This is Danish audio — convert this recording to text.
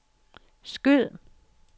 skyd